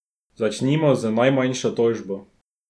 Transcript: Začnimo z najmanjšo tožbo.